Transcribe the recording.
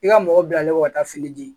I ka mɔgɔ bilalen kɔ ka taa fini di